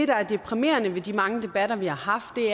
der er deprimerende ved de mange debatter vi har haft er